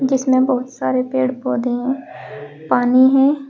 जिसमें बहुत सारे पेड़ पौधे हैं पानी है।